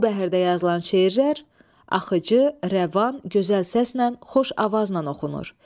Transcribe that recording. Bu bəhrdə yazılan şeirlər axıcı, rəvan, gözəl səslə, xoş avazla oxunur.